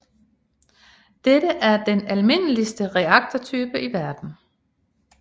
Dette er den almindeligste reaktortype i verden